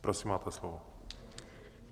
Prosím, máte slovo.